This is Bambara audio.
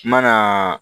Kuma na